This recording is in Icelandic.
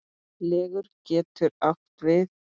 Leggur getur átt við